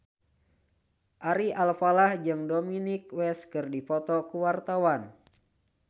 Ari Alfalah jeung Dominic West keur dipoto ku wartawan